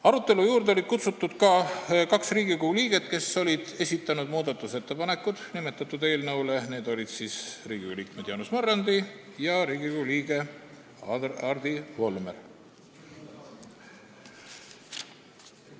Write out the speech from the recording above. Arutelu juurde olid kutsutud ka kaks Riigikogu liiget, kes olid esitanud muudatusettepanekuid nimetatud eelnõu kohta, need olid Riigikogu liikmed Jaanus Marrandi ja Hardi Volmer.